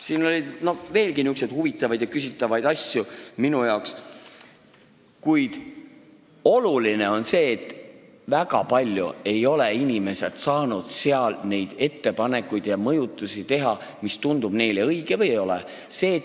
Siin oli veelgi nihukesi huvitavaid ja küsitavaid asju minu arvates, kuid oluline on see, et inimesed ei ole saanud seal väga palju ettepanekuid ja mõjutusi, mida teha nendes asjades, mis kas tunduvad neile õigetena või ei tundu.